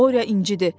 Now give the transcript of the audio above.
Borya incidi.